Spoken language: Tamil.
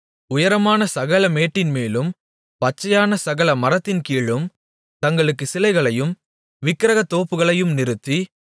உயரமான சகல மேட்டின்மேலும் பச்சையான சகல மரத்தின்கீழும் தங்களுக்குச் சிலைகளையும் விக்கிரகத் தோப்புகளையும் நிறுத்தி